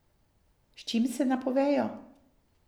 S čim se napovejo?